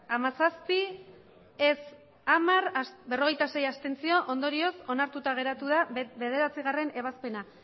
hamazazpi ez hamar abstentzioak berrogeita sei ondorioz onartuta geratu da bederatzigarrena ebazpena